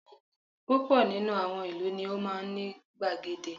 Púpọ̀ nínú àwọn ìlú ni ó máa ní gbàgede